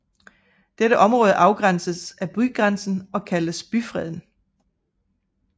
Dette område afgrænses af bygrænsen og kaldtes byfreden